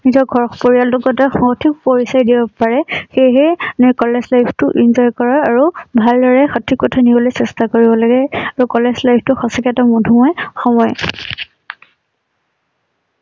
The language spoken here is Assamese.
নিজৰ ঘৰ পৰিয়াল তোৰ কথা সহযোগ পৰিচয় দিব পাৰে সেইহে কলেজ life টো enjoy কৰা আৰু ভালদৰে সঠিক পথত নিবলৈ চেষ্টা কৰিব লাগে আৰু কলেজ life টো সঁচাকৈ এটা মধুুময় সময়।